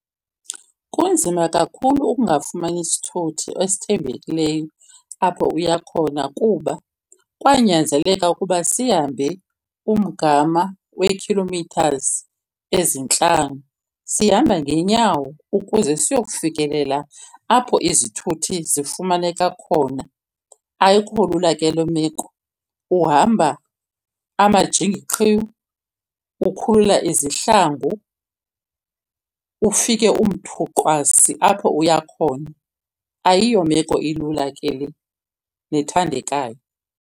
Kunzima kakhulu ukungafumani sithuthi esithembekileyo apho uya khona, kuba kwanyanzeleka ukuba sihambe umgama wee-kilometres ezintlanu sihamba ngeenyawo ukuze siyokufikelela apho izithuthi zifumaneka khona. Ayikho lula ke loo meko, uhamba amajingi qhiwu, ukhulula izihlangu, ufike umthuqwasi apho uya khona. Ayiyo meko ilula ke le nethandekayo.